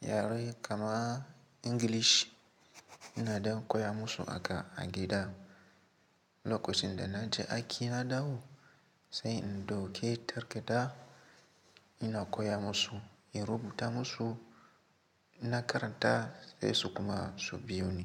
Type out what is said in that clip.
yare kamar English ina ɗan koya musu haka a gida. Lokacin da na je aiki na dawo sai in dauke takadda ina koya musu in rubuta musu in karanta sai su kuma su biyo ni.